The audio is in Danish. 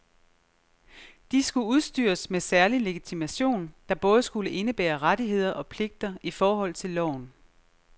De skulle udstyres med særlig legitimation, der både skulle indebære rettigheder og pligter i forhold til loven.